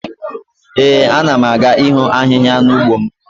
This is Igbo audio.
Ee, a na m aga iho ahihia n'ugbo m